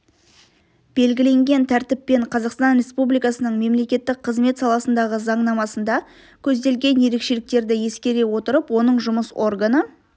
белгіленген тәртіппен қазақстан республикасының мемлекеттік қызмет саласындағы заңнамасында көзделген ерекшеліктерді ескере отырып оның жұмыс органы